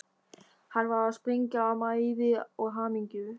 Hann var að springa af mæði og hamingju.